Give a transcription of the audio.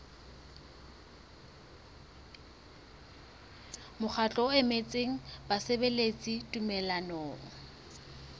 mokgatlo o emetseng basebeletsi tumellanong